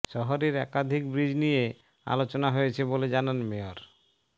শহরের একাধিক ব্রিজ নিয়ে আলোচনা হয়েছে বলে জানান মেয়র